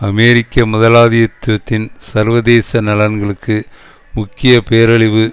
அமெரிக்க முதலாளித்துவத்தின் சர்வதேச நலன்களுக்கு முக்கிய பேரழிவு